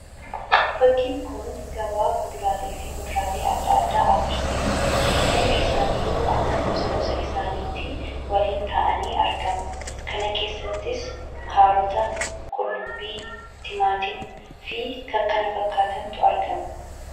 Fakkiin kun gabaa fuduraalee fi muduraalee adda addaa agarsiisa. Hundi isaaniiyyuu akka gosa gosa isaaniitti warreen taa'anii argamu. Kana keessattis: kaarota, qullubbii, timaatima fi kan kana fakkaatantu argama.